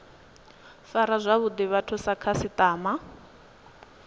fara zwavhuḓi vhathu sa khasiṱama